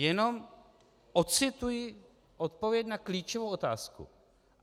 Jenom ocituji odpověď na klíčovou otázku.